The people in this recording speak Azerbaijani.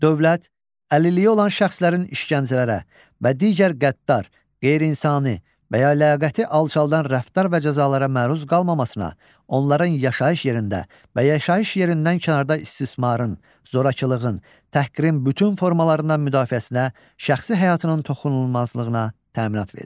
Dövlət əlilliyi olan şəxslərin işgəncələrə və digər qəddar, qeyri-insani və ya ləyaqəti alçaldan rəftar və cəzalara məruz qallmamasına, onların yaşayış yerində və yaşayış yerindən kənarda istismarın, zorakılığın, təhqirin bütün formalarından müdafiəsinə, şəxsi həyatının toxunulmazlığına təminat verir.